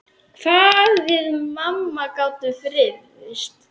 Hvað við mamma gátum rifist.